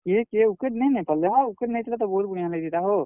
କିହେ କିହେ wicket ନେ ନେଇ ପାର୍ ଲେ ହୋ, wicket ନେଇ ଥିଲେ ତ ବହୁତ୍ ବଢିଆ ଲାଗିଥିତା ହୋ।